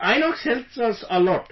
Inox helps us a lot